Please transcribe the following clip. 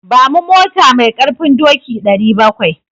Ba mu mota mai ƙarfin doki 700.